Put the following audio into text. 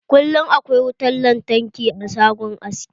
Kullum akwai wutan lantarki a shagon aski.